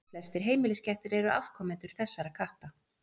Flestir heimiliskettir eru afkomendur þessara katta.